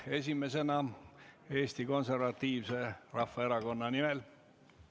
Esimesena Siim Pohlak Eesti Konservatiivse Rahvaerakonna nimel.